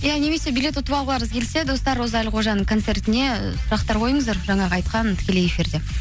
ия немесе билет ұтып алғыларыңыз келсе достар роза әлқожаның концертіне сұрақтар қойыңыздар жаңағы айтқан тікелей эфирде